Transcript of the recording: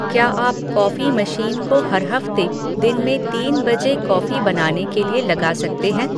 क्या आप coffee machine को हर हफ़्ते दिन में तीन बजे कॉफ़ी बनाने के लिए लगा सकते हैं